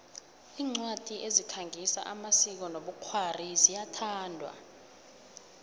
incwadi ezikhangisa amasiko nobkhwari ziyathandwa